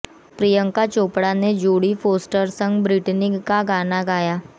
प्रियंका चोपड़ा ने Jodie Foster संग Britney का गाना गाया